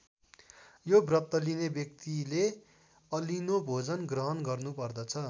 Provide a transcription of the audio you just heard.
यो व्रत लिने व्यक्तिले अलिनो भोजन ग्रहण गर्नुपर्दछ।